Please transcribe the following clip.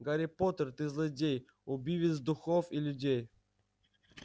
гарри поттер ты злодей убивец духов и людей